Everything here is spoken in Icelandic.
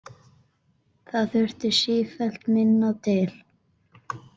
Það þurfti sífellt minna til.